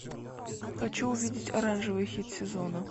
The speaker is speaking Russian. хочу увидеть оранжевый хит сезона